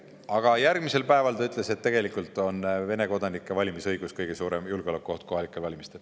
Aga järgmisel päeval ta ütles, et tegelikult on Vene kodanike valimisõigus kohalikel valimistel kõige suurem julgeolekuoht.